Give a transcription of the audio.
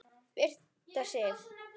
Birta Sif.